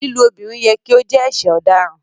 Lílú obìrín yẹ̀ kí o jẹ̀ ẹṣẹ̀ ọ̀dáràn